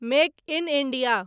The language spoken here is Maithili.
make in India